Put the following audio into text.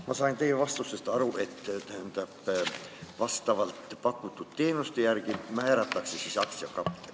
Ma sain teie vastusest aru, et pakutud teenuste järgi määratakse aktsiakapital.